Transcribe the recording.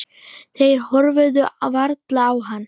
Þeir horfðu varla á hann.